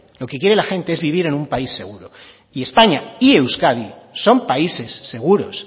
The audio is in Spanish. lo que quiere la gente es vivir en un país seguro y españa y euskadi son países seguros